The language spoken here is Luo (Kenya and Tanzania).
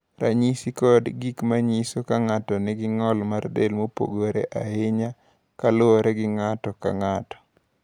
Ranyisi kod gik ma nyiso ni ng’ato nigi ng’ol mar del mopogore ahinya kaluwore gi ng’ato ka ng’ato.